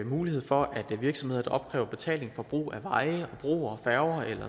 mulighed for at virksomheder der opkræver betaling for brug af veje broer færger